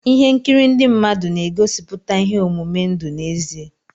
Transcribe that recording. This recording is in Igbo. Ihe nkiri ndị mmadụ na-egosiputa ihe omume ndụ n'ezie.